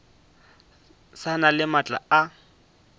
sa na le maatla a